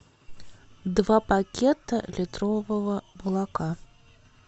два пакета литрового молока